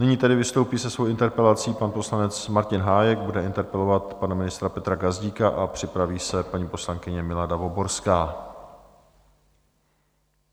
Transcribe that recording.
Nyní tedy vystoupí se svou interpelací pan poslanec Martin Hájek, bude interpelovat pana ministra Petra Gazdíka, a připraví se paní poslankyně Milada Voborská.